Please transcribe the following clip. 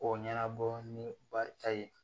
K'o ɲɛnabɔ ni barita ye